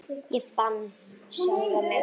Ég fann sjálfan mig.